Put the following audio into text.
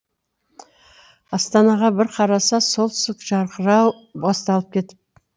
астанға бір қараса солтүстік жарқырау басталып кетіп